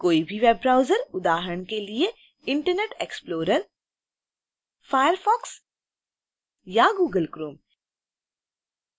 कोई भी web browser उदाहरण के लिए: internet explorer firefox या google chrome